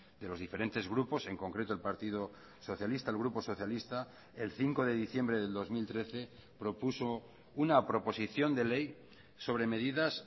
de los diferentes grupos en concreto el partido socialista el grupo socialista el cinco de diciembre del dos mil trece propuso una proposición de ley sobre medidas